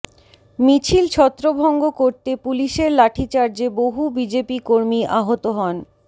মিছিল ছত্রভঙ্গ করতে পুলিশের লাঠিচার্জে বহু বিজেপি কর্মী আহত হন